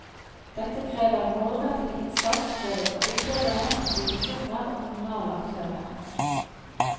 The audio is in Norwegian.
Dette krever målrettet innsats både fra utøvere, institusjoner og kommunale aktører.